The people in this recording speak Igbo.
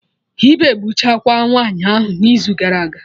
Ịba egbuchakwaa nwaanyị ahụ n'izu gara aga